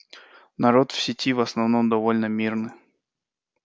народ в сети в основном довольно мирный